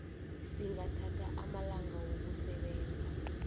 singathatha amalanga wokusebenza